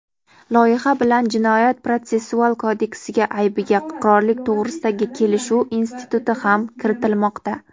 loyiha bilan Jinoyat-protsessual kodeksiga aybiga iqrorlik to‘g‘risidagi kelishuv instituti ham kiritilmoqda.